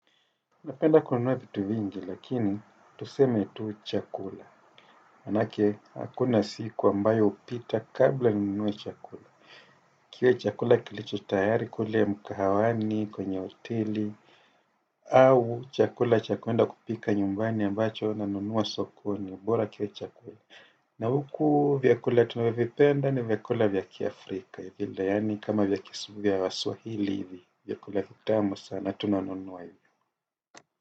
Napenda kununua vitu vingi lakini tuseme tuu chakula. Manake hakuna siku ambayo hupita kabla ninunue chakula. Kile chakula kilicho tayari kule mkahawani kwenye hoteli au chakula cha kwenda kupika nyumbani ambacho na nunua sokoni ubora kiwe chakula. Na huku vyakula tunavyo vipenda ni vyakula vya ki Afrika. Vile yaani kama vyakisubia wasuahili hivi vyakula vitamo sana tunanunuwa hivi.